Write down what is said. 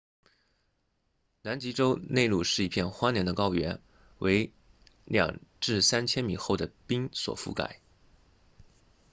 南极洲内陆是一片荒凉的高原为 2-3 千米厚的冰所覆盖